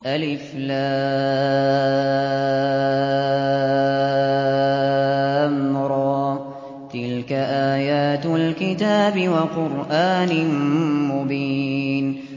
الر ۚ تِلْكَ آيَاتُ الْكِتَابِ وَقُرْآنٍ مُّبِينٍ